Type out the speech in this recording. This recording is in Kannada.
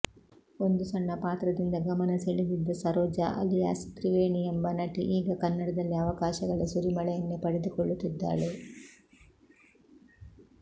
ಒಂದು ಸಣ್ಣ ಪಾತ್ರದಿಂದ ಗಮನ ಸೆಳೆದಿದ್ದ ಸರೋಜಾ ಅಲಿಯಾಸ್ ತ್ರಿವೇಣಿ ಎಂಬ ನಟಿ ಈಗ ಕನ್ನಡದಲ್ಲಿ ಅವಕಾಶಗಳ ಸುರಿಮಳೆಯನ್ನೇ ಪಡೆದುಕೊಳ್ಳುತ್ತಿದ್ದಾಳೆ